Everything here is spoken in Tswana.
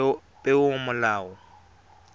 peomolao